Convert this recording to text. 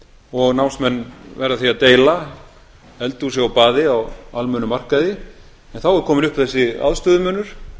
og námsmenn verða því að deila eldhúsi og baði á almennum markaði en þá er kominn upp þessi aðstöðumunur